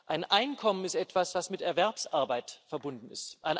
Ein Einkommen ist etwas, das mit Erwerbsarbeit verbunden ist.